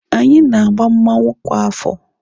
Anyị na-agba mmanwụ kwa afọ.